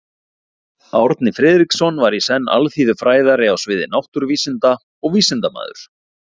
Árni Friðriksson var í senn alþýðufræðari á sviði náttúruvísinda og vísindamaður.